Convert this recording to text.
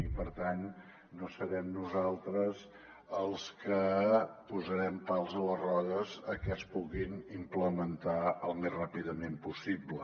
i per tant no serem nosaltres els que posarem pals a les rodes a que es puguin implementar al més ràpidament possible